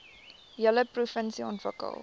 hele provinsie ontwikkel